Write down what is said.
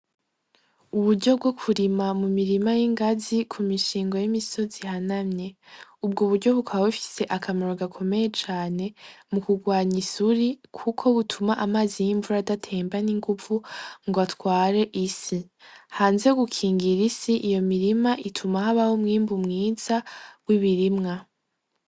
Uburyo bwokurima mu mirima y'ingazi ku mishingo y'imisozi hana mye ubwo uburyo bukabae bifise akamaro gakomeye cane mu kurwanya isuri, kuko butuma amazi y'imvura adatemba n'inguvu ngo atware isi hanze gukingira isi iyo mirima ituma hoabaho mwimbu mwiza wo ibirimwa.